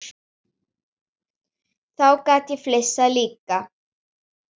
Þá gat ég flissað líka.